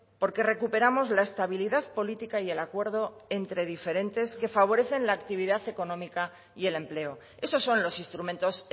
porque recuperamos la estabilidad política y el acuerdo entre diferentes que favorecen la actividad económica y el empleo esos son los instrumentos